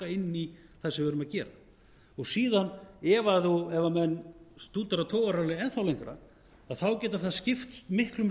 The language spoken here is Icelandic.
inn í það sem við erum að gera síðan ef menn stúdera togararallið enn þá lengra getur það skipt miklum